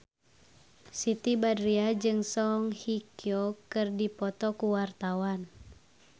Siti Badriah jeung Song Hye Kyo keur dipoto ku wartawan